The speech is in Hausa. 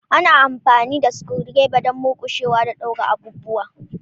Ana amfani da screwdriver don murƙushewa da daure abubuwa.